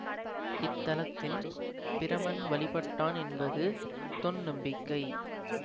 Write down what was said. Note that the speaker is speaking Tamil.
இத்தலத்தின் பிரமன் வழிபட்டான் என்பது தொன்நம்பிக்கை